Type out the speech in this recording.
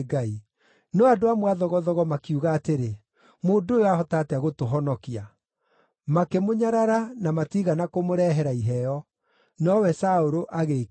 No andũ amwe a thogothogo makiuga atĩrĩ, “Mũndũ ũyũ aahota atĩa gũtũhonokia?” Makĩmũnyarara na matiigana kũmũrehera iheo. Nowe Saũlũ agĩĩkirĩra ki.